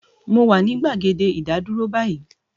mo wà ní agbègbè ìdádúró báyìí